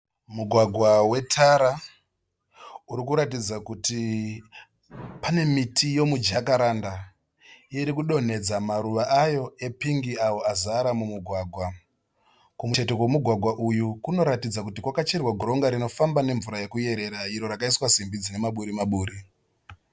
Mugwagwa wetara, urikuratidza kuti pane miti yomujakaranda irikudonhedza maruva ayo epingi awo azara mumugwagwa. Kumucheto kwomugwagwa uyu kunoratidza kuti kwakacherwa goronga rinofamba nemvura yekuyerera iro rakaiswa simbi dzine maburi-maburi.